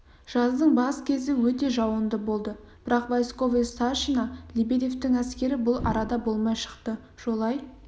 жаздың бас кезі өте жауынды болды бірақ войсковой старшина лебедевтің әскері бұл арада болмай шықты жолай